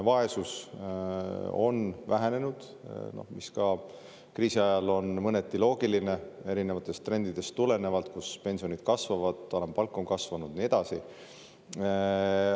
Vaesus on vähenenud – mis ka kriisiajal on mõneti loogiline erinevatest trendidest tulenevalt, kus pensionid kasvavad, alampalk on kasvanud ja nii edasi.